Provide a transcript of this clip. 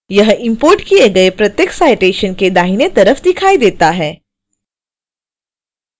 यह इंपोर्ट किए गए प्रत्येक citation के दाहिने तरफ दिखाई देता है